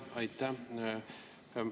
Aitäh!